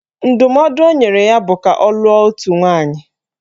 Ndụmọdụ o nyere ya bụ ka ọ lụọ otu nwaanyị